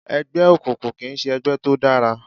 Ẹgbẹ́ òkùnkùn kìí ṣe ẹgbẹ́ tó dára